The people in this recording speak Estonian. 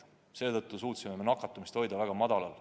Seetõttu suutsime nakatumise hoida väga madalal.